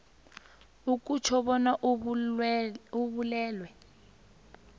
akutjho bona ubulwelwe